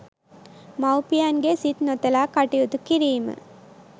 මව්පියන්ගේ සිත් නොතලා කටයුතු කිරීම